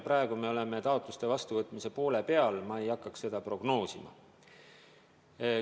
Praegu me tegeleme taotluste vastuvõtmisega ja ma ei hakkaks seda prognoosima.